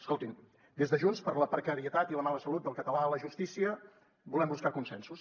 escoltin des de junts per la precarietat i la mala salut del català a la justícia volem buscar consensos